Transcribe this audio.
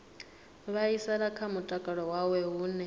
vhaisala kha mutakalo wawe hune